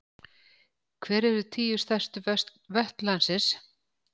Hver eru tíu stærstu vötn landsins?